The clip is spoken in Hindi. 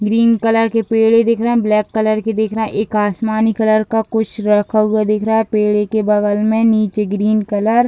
ग्रीन कलर के पेड़े दिख रहे हैं ब्लैक कलर की दिख रहे हैं एक आसमानी कलर का कुछ रखा हुआ दिख रहा है पेड़े के बगल में नीचे ग्रीन कलर --